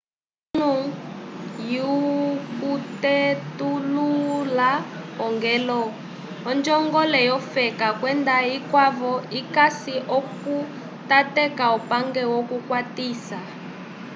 kilu lyokutetulula ogelu onjongole yofela kwenda vikwavo vikasi okutateka upange wokukwatisa